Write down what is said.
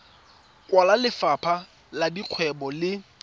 kwa lefapheng la dikgwebo le